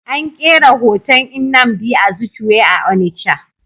An kera hoton Nnamdi Azikiwe a Onitsha.